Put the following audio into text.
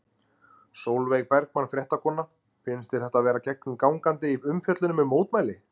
Sólveig Bergmann, fréttakona: Finnst þér þetta vera gegnum gangandi í umfjöllunum um mótmæli?